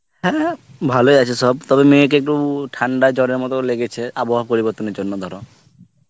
হ্যাঁ ভালই আছে সব, তবে মেয়ে কে একটু, ঠান্ডা জ্বর এর মত লেগেছে আবহাওয়া পরিবর্তনের জন্যে ধরো